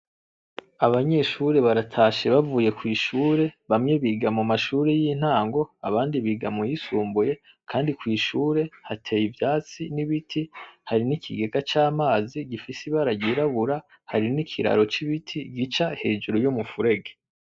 Abanyeshuri baratashe bavuye kw'ishuri bamwe biga mu mashuri yintango abandi biga mu yisimbuye kandi kw'ishuri hateye ivyatsi n'ibiti hari n'ikigega c'amazi gifise ibara ryirabura hari n'ikiraro c'ibiti gica hejuru y'umufurege.